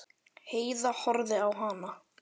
Heiða horfði á hana.